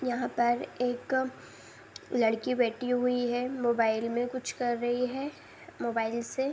यहाँ पर एक लड़की बैठी हुई है। मोबाइल में कुछ कर रही है। मोबाइल से --